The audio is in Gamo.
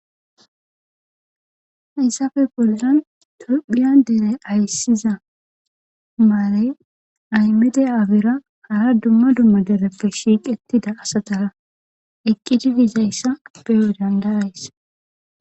hayssafe boldan tophiya dere ayssiza maarey aymede afira hara dumma dumma dereppe shiiqettida asatara eqqidi dizayssa beyo dandarays